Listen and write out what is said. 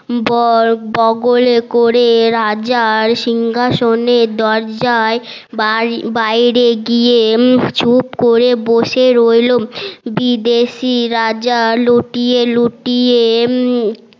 বর বগলে করে রাজার শিঙ্ঘাশনের দরজায় বাই বাইরে গিয়ে চুপ করে বসে রইলো বিদেশি রাজা লুটিয়ে লুটিয়ে